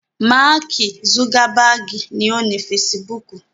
Máàkì zugabaagi ni ó ni fesibúùkù